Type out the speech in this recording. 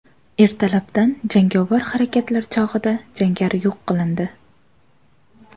Ertalabdan jangovar harakatlar chog‘ida jangari yo‘q qilindi.